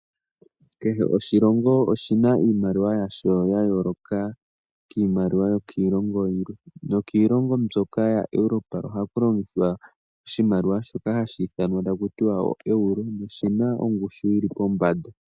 Kehe oshilongo oshina iimaliwa yasho yayoloka kiimaliwa yokiilongo yilwe. No kiilongo mbyoka yaerope oha ku longithwa oshimaliwa shoka hashi ithanwa taku tiwa oeuro. Noshina ongushu yili pombanda.